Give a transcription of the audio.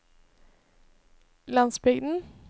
landsbygden